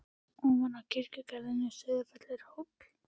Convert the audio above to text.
Ofan við kirkjugarðinn á Sauðafelli er hóll.